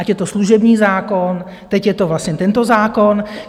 Ať je to služební zákon, teď je to vlastně tento zákon.